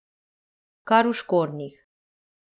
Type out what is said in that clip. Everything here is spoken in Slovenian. Kar v škornjih.